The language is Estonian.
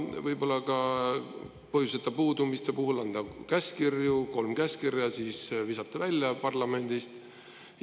Ja võib-olla ka põhjuseta puudumiste puhul anda käskkirju: kolm käskkirja, siis visata välja parlamendist?